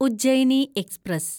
Ujjaini express